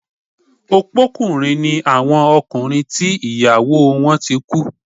Opókùnrin ni àwọn ọkùnrin tí ìyàwó wọ́n ti kú